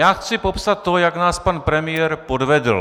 Já chci popsat to, jak nás pan premiér podvedl.